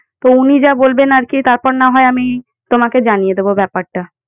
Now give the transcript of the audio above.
তো উনি যা বলবেন আর কি তারপর না হয় আমি তোমাকে জানিয়ে দেবো ব্যাপারটা।